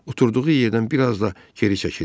Oturduğu yerdən bir az da geri çəkildi.